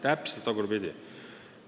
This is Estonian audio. Täpselt tagurpidi!